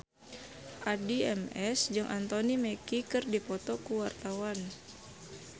Addie MS jeung Anthony Mackie keur dipoto ku wartawan